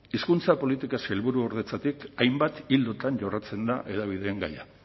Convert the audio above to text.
hizkuntza politika sailburuordetzatik hainbat ildotan jorratzen da hedabideen gaia